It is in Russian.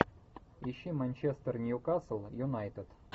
ищи манчестер ньюкасл юнайтед